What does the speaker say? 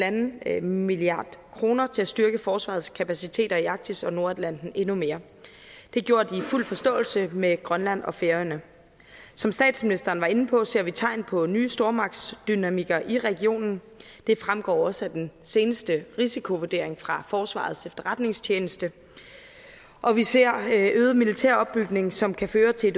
en en milliard kroner til at styrke forsvarets kapaciteter i arktis og nordatlanten endnu mere det er gjort i fuld forståelse med grønland og færøerne som statsministeren var inde på ser vi tegn på nye stormagtsdynamikker i regionen det fremgår også af den seneste risikovurdering fra forsvarets efterretningstjeneste og vi ser øget militæropbygning som kan føre til